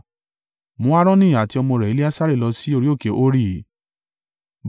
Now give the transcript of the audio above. Mú Aaroni àti ọmọ rẹ̀ Eleasari lọ sí orí òkè Hori.